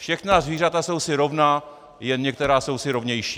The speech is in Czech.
"Všechna zvířata jsou si rovna, jen některá jsou si rovnější."